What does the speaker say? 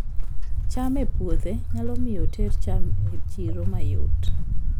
cham e puodho nyalo miyo oter cham e chiro mayot